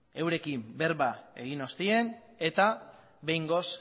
eurekin berba egin ostean eta behingoz